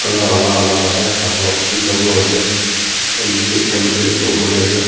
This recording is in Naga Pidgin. colour alag alag ase aru tinta raw ase ekta niche ekta middle ekta opor te ase.